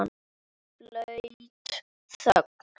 Blaut þögn.